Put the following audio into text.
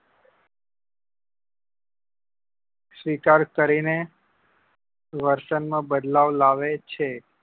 સ્વીકાર કરી ને વર્તન માં બદલાવ લાવે છે